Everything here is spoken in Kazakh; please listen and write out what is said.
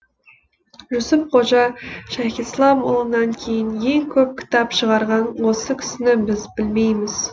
жүсіп қожа шайхислам ұлынан кейін ең көп кітап шығарған осы кісіні біз білмейміз